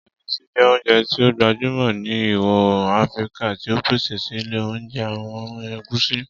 Ọbẹ Egusi jẹ ounjẹ ti o gbajumọ ni Iwọ-oorun Afirika, ti a pese sile pẹlu awọn irugbin egusi.